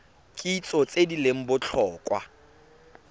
kitso tse di leng botlhokwa